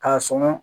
K'a sɔn